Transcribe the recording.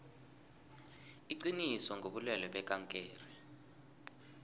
iqiniso ngobulwelwe bekankere